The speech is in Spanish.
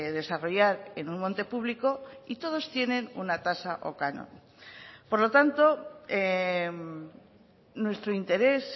desarrollar en un monte público y todos tienen una tasa o canon por lo tanto nuestro interés